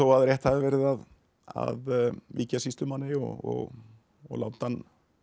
rétt hafi verið að að víkja sýslumanni og og láta hann